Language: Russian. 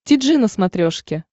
ти джи на смотрешке